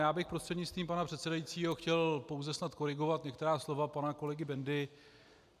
Já bych prostřednictvím pana předsedajícího chtěl pouze snad korigovat některá slova pana kolegy Bendy.